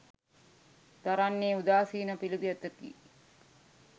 දරන්නේ උදාසීන පිළිවෙතකි